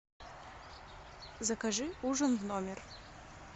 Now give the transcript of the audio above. закажи ужин в номер